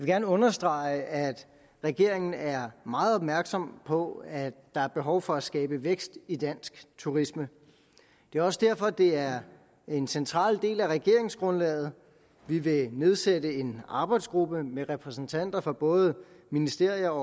gerne understrege at regeringen er meget opmærksom på at der er behov for at skabe vækst i dansk turisme det er også derfor at det er en central del af regeringsgrundlaget vi vil nedsætte en arbejdsgruppe med repræsentanter fra både ministerier